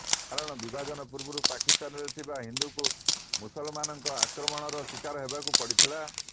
କାରଣ ବିଭାଜନ ପୂର୍ବରୁ ପାକିସ୍ତାନରେ ଥିବା ହିନ୍ଦୁଙ୍କୁ ମୁସଲମାନଙ୍କ ଆକ୍ରମଣର ଶିକାର ହେବାକୁ ପଡ଼ିଲା